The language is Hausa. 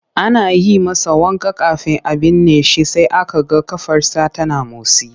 Ana yi masa wanka kafin a binne shi sai aka ga ƙafarsa tana motsi.